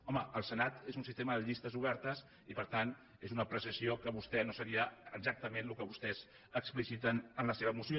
home el senat és un sistema de llistes obertes i per tant no seria exactament el que vostès expliciten en la seva moció